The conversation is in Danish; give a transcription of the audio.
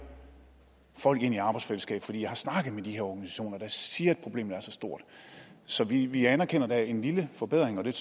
folk ind i arbejdsfællesskabet for jeg har snakket med de her organisationer der siger at problemet er så stort så vi vi anerkender at der er en lille forbedring og det